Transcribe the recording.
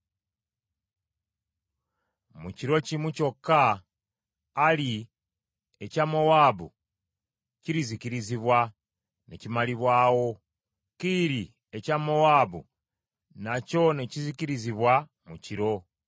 Mu kiro kimu kyokka Ali ekya Mowaabu kirizikirizibwa ne kimalibwawo. Kiiri ekya Mowaabu nakyo ne kizikirizibwa mu kiro!